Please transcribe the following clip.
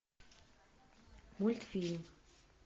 мультфильм